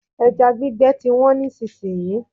Ẹja gbígbẹ ti wọ́n nísìsiyìí.